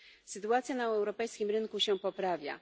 Sytuacja na europejskim rynku się poprawia.